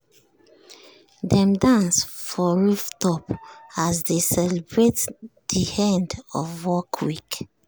dem dance for rooftop as dey celebrate de end of workweek.